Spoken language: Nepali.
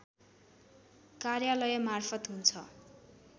कार्यालयमार्फत हुन्छ